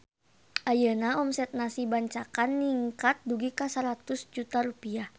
Ayeuna omset Nasi Bancakan ningkat dugi ka 100 juta rupiah